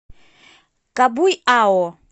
кабуйао